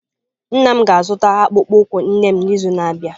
Nna m ga-azụta akpụkpọ ụkwụ nne m n'izu na-abịa.